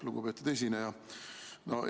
Lugupeetud esineja!